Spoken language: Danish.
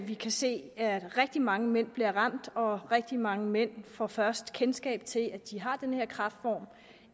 vi kan se at rigtig mange mænd bliver ramt af og rigtig mange mænd får først kendskab til at de har den her kræftform